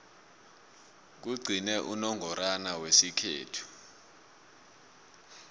kugcine unongorwana wesikhethu